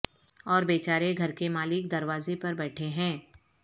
اور بیچارے گھر کے مالک دروازے پر بیٹھے ہیں